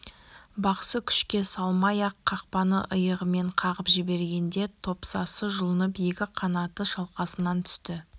бақсы күшке салмай-ақ қақпаны иығымен қағып жібергенде топсасы жұлынып екі қанаты шалқасынан түсті